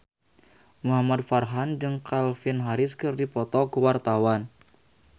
Muhamad Farhan jeung Calvin Harris keur dipoto ku wartawan